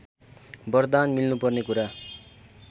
बरदान मिल्नुपर्ने कुरा